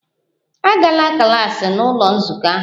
Agala klas n'ụlọ nzukọ ahụ!